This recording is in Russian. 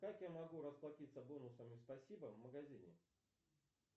как я могу расплатиться бонусами спасибо в магазине